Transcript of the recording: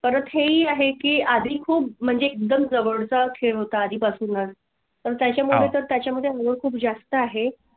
परत ही आहे की आधी खूप म्हणजे एकदम जवळ होता. आधी पासून तर त्याच्या मध्ये त्याच्या मध्ये अजून खूप जास्त आहे